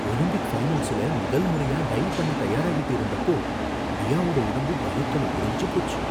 Olympic ஃபைனல்ஸ்ல முதல் முறையா டைவ் பண்ண தயாராகிட்டு இருந்தப்போ மியாவோட உடம்பு பயத்துல உறைஞ்சு போச்சு.